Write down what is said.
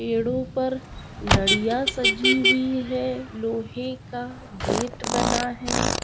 पेड़ो पर लडिया सजी हुई है लोहे का गेट बना है।